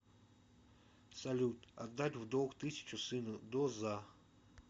салют отдать в долг тысячу сыну до за